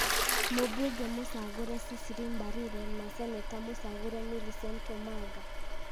mũmbunge mũcagũre Cecily Mbarire na Seneta mũcagũre Millicent Omanga.